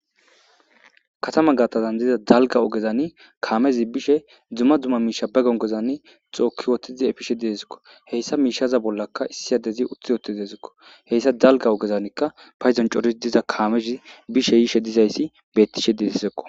Katama gaatazan diza dalga ogezani kaamezi bishe dzumma dzumma miisha be gongozani xooki wotizi efishe deezikko heyssa miishaza bollakka issiyadezi utthi oti deezikko heyssa dalga ogezanikka payzon coris diza kaamezi bishe yiishe dizayssi bettishe deesizekko.